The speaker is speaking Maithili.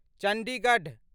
चण्डीगढ